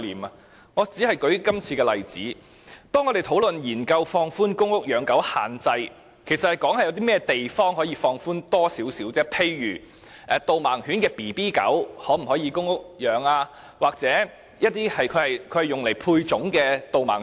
舉例而言，在今次的例子中，當我們研究放寬公屋養狗限制的問題時，其實是討論有哪些地方可以稍作放寬，例如公屋可否飼養導盲犬幼犬或用以配種的導盲犬。